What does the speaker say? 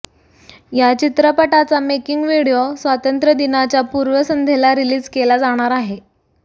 या चित्रपटाचा making video स्वातंत्र्य दिनाच्या पूर्वसंध्येला रिलीज केला जाणार आहे